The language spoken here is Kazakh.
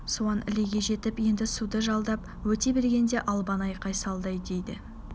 суан ілеге жетіп енді суды жалдап өте бергенде албан айқай салды дейді